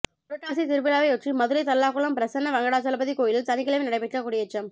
புரட்டாசி திருவிழாவையொட்டி மதுரை தல்லாகுளம் பிரசன்ன வெங்கடாஜலபதி கோயிலில் சனிக்கிழமை நடைபெற்ற கொடியேற்றம்